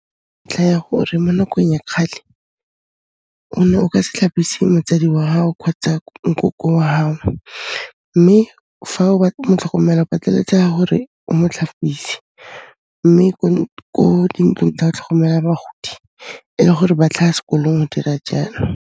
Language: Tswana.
Ntlha ya gore mo nakong ya kgale, o ne o ka se tlhapise motsadi wa hao kgotsa nkoko wa hao mme fa o mo tlhokomela, o pateletseha hore o mo tlhapise mme ko dintlong tsa tlhokomelo ya bagodi e le gore ba tlhaha s'kolong, o dira jalo.